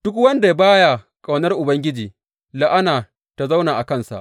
Duk wanda ba ya ƙaunar Ubangiji, la’ana ta zauna a kansa.